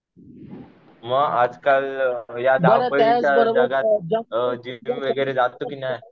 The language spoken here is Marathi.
मग आजकाल या धावपळीच्या जगात जिम बीम वगैरे जातो कि नाही?